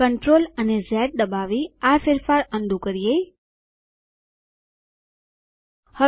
CTRL અને ઝ દબાવી આ ફેરફાર અનડૂ પહેલા હતું તેવું કરીએ